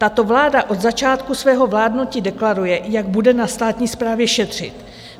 Tato vláda od začátku svého vládnutí deklaruje, jak bude na státní správě šetřit.